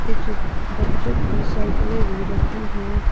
कुछ बच्चों की साइकिलें भी रखी है।